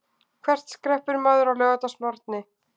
Hvert skreppur maður á laugardagsmorgni?